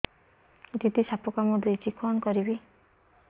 ଦିଦି ସାପ କାମୁଡି ଦେଇଛି କଣ କରିବି